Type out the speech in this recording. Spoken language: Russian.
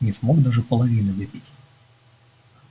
не смог даже половины выпить